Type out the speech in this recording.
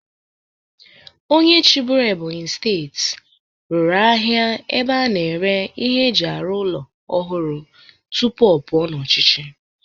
Onye chịbụrụ Ebonyi steeti rụrụ ahịa ebe a na-ere ihe eji arụ ụlọ ọhụrụ tupu ọ pụọ n'ọchịchị.